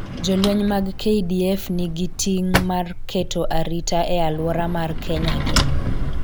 jolweny mag KDF nigi ting mar keto arita e alwora mar Kenya gi